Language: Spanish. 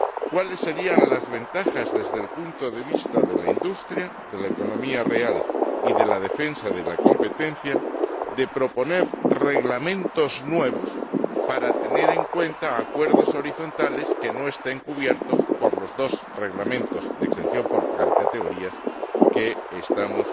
¿Cuáles serían las ventajas desde el punto de vista de la industria, de la economía real y de la defensa de la competencia, de proponer reglamentos nuevos para tener en cuenta acuerdos horizontales que no estén cubiertos por los dos Reglamentos de exención por categorías que estamos